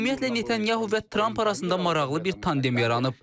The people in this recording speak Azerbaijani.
Ümumiyyətlə, Netanyahu ilə Tramp arasında maraqlı bir tandem yaranıb.